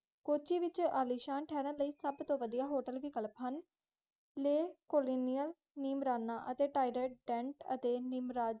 ਕੋਚੀ ਵਿਚ ਤਾਰਨ ਲਾਇ ਸੁਭ ਤੋਂ ਵੱਡੀਆਂ ਹੋਟਲ ਵਿਕਲਪ ਹੁਣ ਲੇਹ, ਕੋਲਿਨ, ਨੀਮਰਾਣਾ ਅਤੇ ਨੀਮਰਾਜ